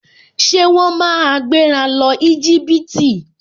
Ṣé wọ́n máa gbéra lọ Íjíbítì?